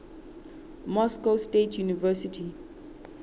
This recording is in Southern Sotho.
moscow state university